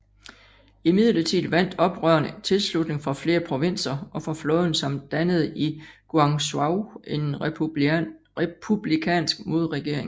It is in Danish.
Imidlertid vandt oprørerne tilslutning fra flere provinser og fra flåden samt dannede i Guangzhou en republikansk modregering